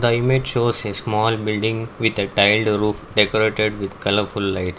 the image shows a small building with a tiled roof decorated with colourful lights.